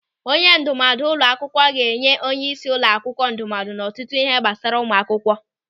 Onye ndụmọdụ ụlọ akwụkwọ ga-enye onyeisi ụlọ akwụkwọ ndụmọdụ n'ọtụtụ ịhe gbasara ụmụ akwụkwọ.